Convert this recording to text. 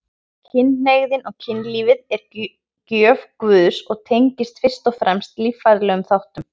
Kynhneigðin og kynlífið er gjöf Guðs og tengist fyrst og fremst líffræðilegum þáttum.